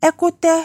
Ɛkutɛ